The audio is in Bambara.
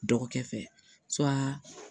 Dɔgɔkɛ fɛ